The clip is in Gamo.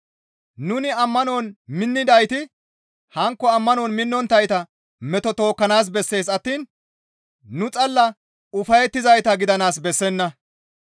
Nuni ammanon minnidayti hankko ammanon minnonttayta meto tookkanaas bessees attiin nu xalla ufayettizayta gidanaas bessenna.